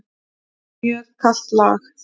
Mjög kalt lag.